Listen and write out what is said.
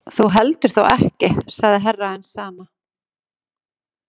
Þú heldur þó ekki sagði Herra Enzana.